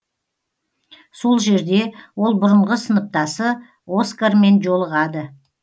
сол жерде ол бұрынғы сыныптасы оскармен жолығады